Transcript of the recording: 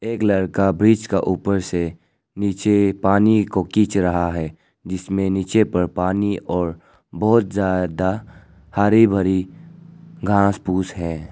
एक लड़का ब्रिज का ऊपर से नीचे पानी को खींच रहा है जिसमें नीचे पर पानी और बहुत ज्यादा हरी भरी घास फूस है।